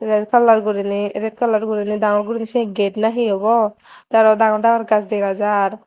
el color guriney red color guriney dangor guri se getto na hi obo tey aro dangor dangor gach dega jar.